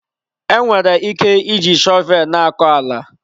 Enwere ike iji shọvel na-akọ ala.